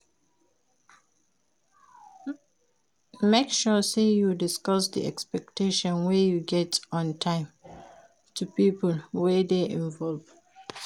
Make sure say you discuss di expectation wey you get on time to pipo wey de involve